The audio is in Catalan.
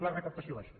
la recaptació baixa